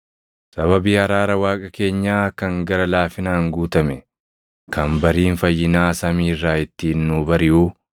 sababii araara Waaqa keenyaa kan gara laafinaan guutame kan bariin fayyinaa samii irraa ittiin nuu bariʼuu,